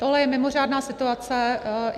Tohle je mimořádná situace.